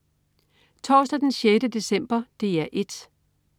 Torsdag den 6. december - DR 1: